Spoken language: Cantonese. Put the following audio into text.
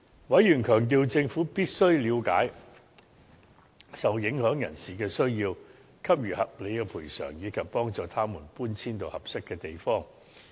委員強調，政府必須了解受影響人士的需要，給予合理的賠償，以及幫助他們搬遷至合適的地方。